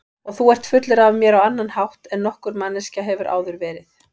Og þú ert fullur af mér á annan hátt en nokkur manneskja hefur áður verið.